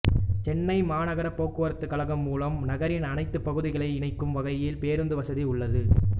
சென்னை மாநகர போக்குவரத்து கழகம் மூலம் நகரின் அனைத்து பகுதிகளையும் இணைக்கும் வகையில் பேருந்து வசதி உள்ளது